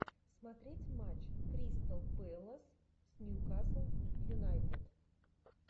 смотреть матч кристал пэлас с ньюкасл юнайтед